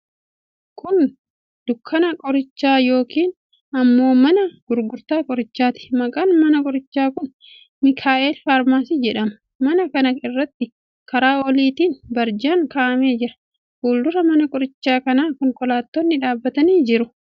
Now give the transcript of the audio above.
Kun dukkaana qorichaa yookiin immoo mana gurgurtaa qorichaati. Maqaan mana qorichaa kun 'Mikael Pharmacy' jedhama. Mana kana irratti karaa oliitiin barjaan kaa'amee jira. Fuuldura mana qorichaa kanaa konkolaattonni dhaabbatanii jiru.